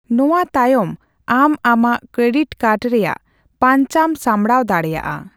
ᱱᱚᱣᱟᱛᱟᱭᱚᱢ ᱟᱢ ᱟᱢᱟᱜ credit card ᱨᱮᱭᱟᱜ ᱯᱟᱸᱧᱪᱟᱢ ᱥᱟᱢᱲᱟᱣ ᱫᱟᱲᱮᱭᱟᱜᱼᱟ ᱾